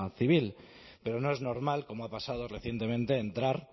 civil pero no es normal como ha pasado recientemente entrar